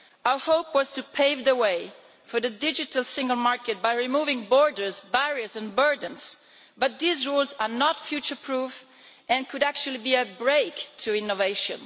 Our hope was to pave the way for the digital single market by removing borders, barriers and burdens, but these rules are not future proof and could actually be a break to innovation.